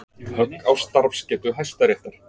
Högg á starfsgetu Hæstaréttar